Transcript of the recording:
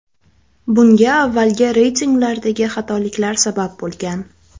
Bunga avvalgi reytinglardagi xatoliklar sabab bo‘lgan.